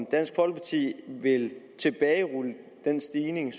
dansk folkeparti vil tilbagerulle den stigning